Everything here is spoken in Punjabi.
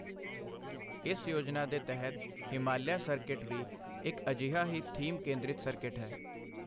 ਇਸ ਯੋਜਨਾ ਦੇ ਤਹਿਤ ਹਿਮਾਲਿਆ ਸਰਕਿਟ ਵੀ ਇੱਕ ਅੀਜਹਾ ਹੀ ਥੀਮ ਕੇਂਦ੍ਰਿਤ ਸਰਕਿਟ ਹੈ।